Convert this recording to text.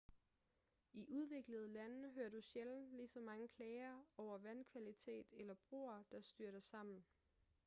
i udviklede lande hører du sjældent ligeså mange klager over vandkvalitet eller broer der styrter sammen